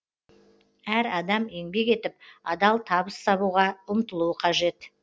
әр адам еңбек етіп адал табыс табуға ұмтылуы қажет